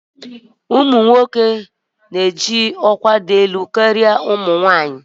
Nwoke ji ọkwá dị elu karịa nwanyị.